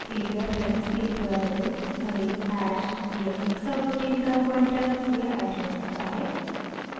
एक reference एक variable array hash या एक subroutine का पॉइंटर या एड्रेस होता है